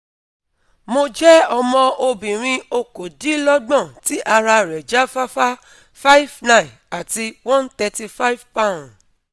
Mo je omo obinrin okodinlogbon ti ara re ja fafa, five ' nine " ati one hundred thirty five poun